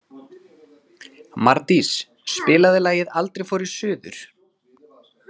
Mardís, spilaðu lagið „Aldrei fór ég suður“.